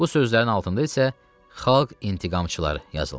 Bu sözlərin altında isə xalq intiqamçıları yazılmışdı.